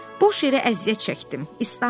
Boş yerə əziyyət çəkdim, islandım.